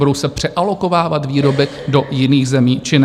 Budou se přealokovávat výroby do jiných zemí či ne?